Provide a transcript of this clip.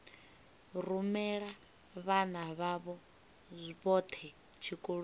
rumela vhana vhavho vhothe tshikoloni